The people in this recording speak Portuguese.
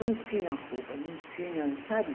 Não tinha roupa, não tinha, sabe?